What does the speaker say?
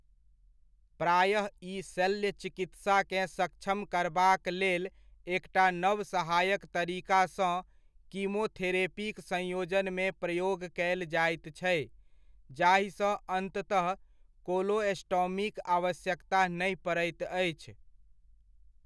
प्रायः ई शल्य चिकित्साकेँ सक्षम करबाक लेल एकटा नव सहायक तरीकासँ कीमोथेरेपीक संयोजनमे प्रयोग कयल जाइत छै, जाहिसँ अन्ततः कोलोस्टॉमीक आवश्यकता नहि पड़ैत अछि।